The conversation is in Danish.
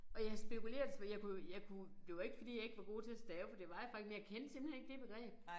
Og jeg spekulerede jeg kunne jo jeg kunne jo det var ikke fordi jeg ikke var god til at stave for det var jeg faktisk men jeg kendte simpelthen ikke det begreb